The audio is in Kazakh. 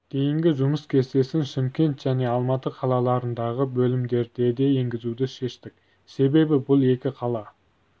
дейінгі жұмыс кестесін шымкент және алматы қалаларындағы бөлімдерде де енгізуді шештік себебі бұл екі қала